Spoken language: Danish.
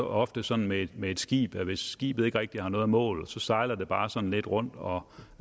ofte sådan med med et skib at hvis skibet ikke rigtig har noget mål så sejler det bare sådan lidt rundt og